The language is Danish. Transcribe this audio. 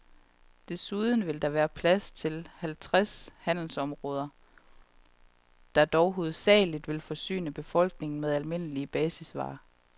Derudover vil der være plads til halvtreds handelsområder, der dog hovedsagelig vil forsyne befolkningen med almindelige basisvarer.